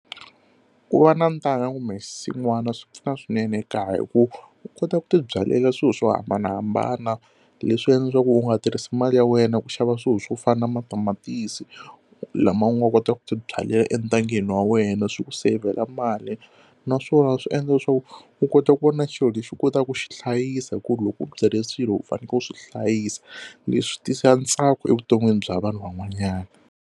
Ku va na ntanga kumbe xinsn'wana swi pfuna swinene kaya hi ku u kota ku ti byalela swilo swo hambanahambana leswi endla leswaku u nga tirhisi mali ya wena ku xava swilo swo fana na matamatisi lama u nga kota ku ti byalela entangeni wa wena swi ku seyivhela mali naswona swi endla swo u kota ku va na xilo lexi u kotaka ku xi hlayisa hi ku loko u byile swilo u fanekele u swi hlayisa leswi tisa ntsako evuton'wini bya vanhu van'wanyana.